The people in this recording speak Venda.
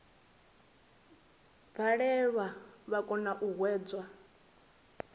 balelwa vha kona u hwedza